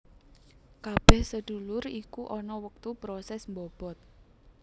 Kabeh sedulur iku ana wektu proses mbobot